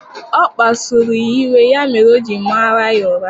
Ọ kpasuru ya iwe ya mere o ji mara ya ụra